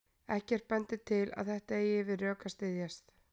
Ekkert bendir til að þetta eigi við rök að styðjast.